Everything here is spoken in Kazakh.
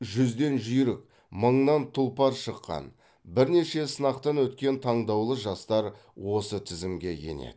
жүзден жүйрік мыңнан тұлпар шыққан бірнеше сынақтан өткен таңдаулы жастар осы тізімге енеді